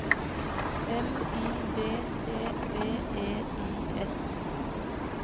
M I D T V E I S